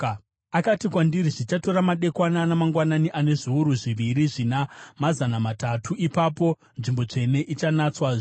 Akati kwandiri, “Zvichatora madekwana namangwanani ane zviuru zviviri zvina mazana matatu; ipapo nzvimbo tsvene ichanatswazve.”